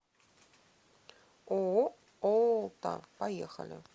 ооо олта поехали